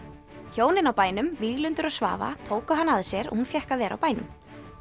hjónin á bænum Víglundur og Svava tóku hana að sér og hún fékk að vera á bænum